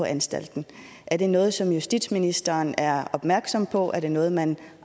anstalten er det noget som justitsministeren er opmærksom på og er det noget man